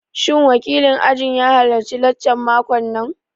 Shin wakilin ajin ya halarci laccan makon nan?